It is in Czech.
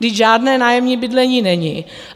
Vždyť žádné nájemní bydlení není.